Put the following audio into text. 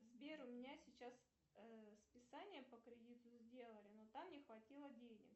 сбер у меня сейчас списание по кредиту сделали но там не хватило денег